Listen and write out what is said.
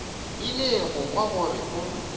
ile go kwa gore o